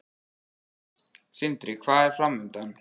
Sindri: Hvað er framundan?